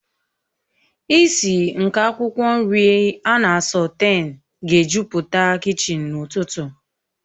Ìsì nke akwụkwọ nri ana a sọtén ga-ejupụta kichin n'ụtụtụ